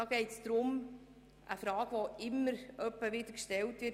Es geht um eine Frage, die immer wieder gestellt wird: